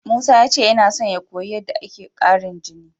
Musa ya ce yana son ya koyi yadda ake ƙarin jini.